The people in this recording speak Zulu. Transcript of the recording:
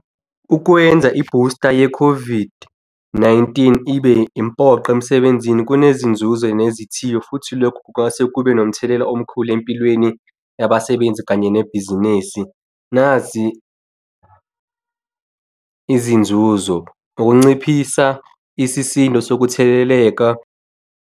Ukwenza i-booster ye-COVID-19 ibe impoqo emsebenzini. Kunezinzuzo nezithiyo futhi lokho kungase kube nomthelela omkhulu empilweni, yabasebenzi kanye nebhizinesi. Nazi izinzuzo, ukunciphisa isisindo sokutheleleka.